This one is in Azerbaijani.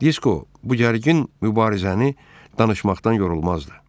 Disko bu gərgin mübarizəni danışmaqdan yorulmazdı.